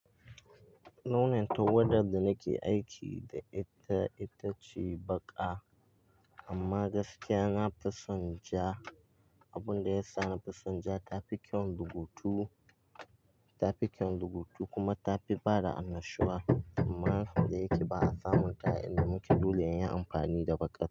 Launin tawadar da nake aiki da ita ita ce baƙa. Amma gaskiya na fi son ja. Abun da ya sa na fison ja, ta fi kyau rubutu, ta fi kyau lukutu kuma ta fi bada annashuwa. Amma nau'in da yake ba a samun ta inda muke dole ya yi amfani da baƙa.